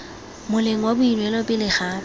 moleng wa boineelo pele ga